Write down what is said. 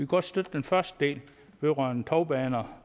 godt støtte den første del vedrørende tovbaner